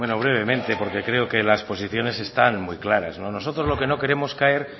bueno brevemente porque creo que las posiciones están muy claras nosotros lo que no queremos caer